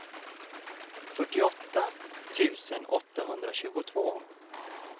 fyrtioåtta tusen åttahundratjugotvå